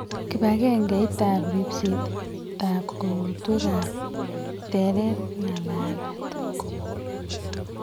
Kibakengeit ab ribseet ab korotwekak terer ak ng'alalet